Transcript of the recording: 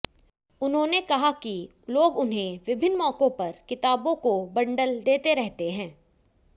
उन्होंने कहा कि लोग उन्हें विभिन्न मौकों पर किताबों को बंडल देते रहते हैं